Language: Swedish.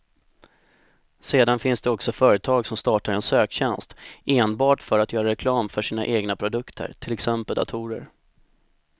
Sedan finns det också företag som startar en söktjänst enbart för att göra reklam för sina egna produkter, till exempel datorer.